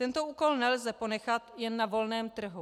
Tento úkol nelze ponechat jen na volném trhu.